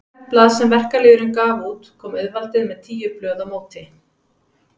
Fyrir hvert blað sem verkalýðurinn gaf út kom auðvaldið með tíu blöð á móti.